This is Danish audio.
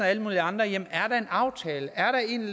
alle mulige andre jamen er der en aftale er der en